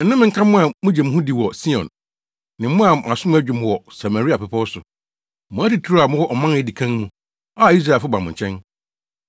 Nnome nka mo a mugye mo ho di wɔ Sion, ne mo a mo asom adwo mo wɔ Samaria bepɔw so, mo atitiriw a mowɔ ɔman a edi kan mu, a Israelfo ba mo nkyɛn!